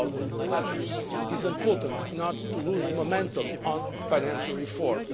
2011. It is important not to lose momentum on financial reform.